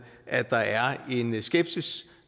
at der er en skepsis